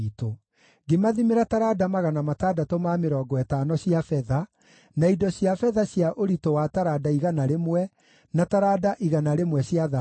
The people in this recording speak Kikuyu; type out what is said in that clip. Ngĩmathimĩra taranda 650 cia betha, na indo cia betha cia ũritũ wa taranda igana rĩmwe , na taranda igana rĩmwe cia thahabu,